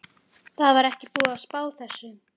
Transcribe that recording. Það var ekki búið að spá þessu.